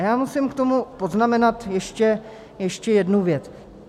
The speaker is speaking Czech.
A já musím k tomu poznamenat ještě jednu věc.